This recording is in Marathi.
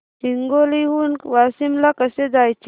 हिंगोली हून वाशीम ला कसे जायचे